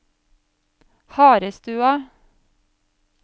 Harestua